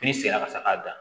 Piri sigira ka se k'a dan